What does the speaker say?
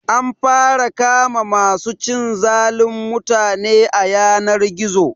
An fara kama ma su cin zalin mutane a yanar gizo